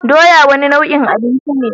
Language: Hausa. Doya wane nau'in abinci ce?